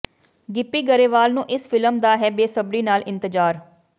ਗਿੱਪੀ ਗਰੇਵਾਲ ਨੂੰ ਇਸ ਫਿਲਮ ਦਾ ਹੈ ਬੇਸਬਰੀ ਨਾਲ ਇੰਤਜ਼ਾਰ